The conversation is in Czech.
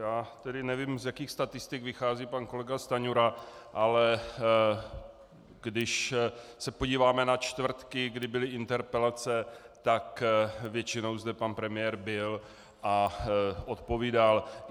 Já tedy nevím, z jakých statistik vychází pan kolega Stanjura, ale když se podíváme na čtvrtky, kdy byly interpelace, tak většinou zde pan premiér byl a odpovídal.